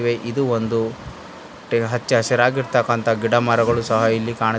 ಇದು ಒಂದು ಹಚ್ಚ ಹಸಿರಾಗಿರ್ತಿಕಂತಹ ಗಿಡ ಮರಗಳು ಸಹ ಇಲ್ಲಿ ಕಾಣುತ್ --